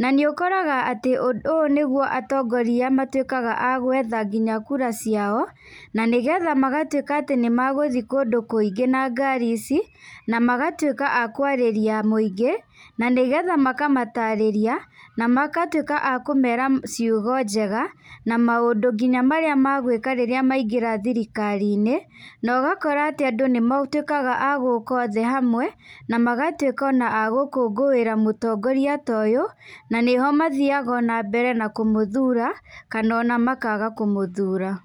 na nĩ ũkoraga atĩ ũũ nĩguo atongoria matuĩkaga agwetha nginya kura ciao, na nĩgetha magatuĩka atĩ nĩ megũthiĩ kũndũ kũingĩ na ngari ici, na magatuĩka a kwarĩria mwĩingĩ, na nĩgetha makamatarĩria, na magatuĩka a kũmera ciugo njega, na maũndũ nginya marĩa megwĩka rĩrĩa maingĩra thirikari-inĩ, nogakora atĩ andũ nĩ matuĩkaga agũka othe hamwe, na magatuĩka ona a gũkũngũĩra mũtongoria ta ũyũ, na nĩho mathiaga ona mbere na kũmũthura, kana ona makaga kũmũthura.